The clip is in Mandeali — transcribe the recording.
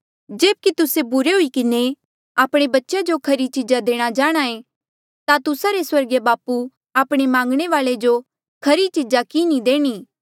जेब्की तुस्से बुरे हुई किन्हें आपणे बच्चेया जो खरी चीजा देणा जाणहां ऐें ता तुस्सा रे स्वर्गीय बापू आपणे मांगणे वाल्ऐ जो खरी चीजा कि नी देणी